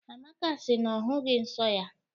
Amaka si na ọ hụghị nso ya.